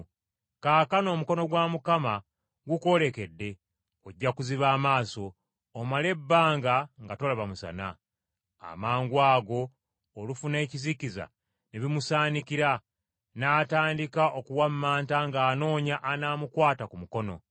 Kaakano omukono gwa Mukama gukwolekedde, ojja kuziba amaaso, omale ebbanga nga tolaba musana.” Amangwago olufu n’ekizikiza ne bimusaanikira, n’atandika okuwammanta ng’anoonya anaamukwata ku mukono.